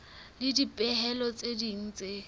le dipehelo tse ding tse